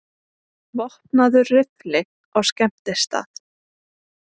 Vopnaður riffli á skemmtistað